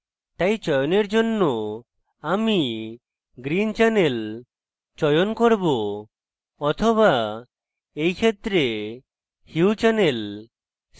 তাই চয়নের জন্য আমি green channel চয়ন করব so এই ক্ষেত্রে হিউ channel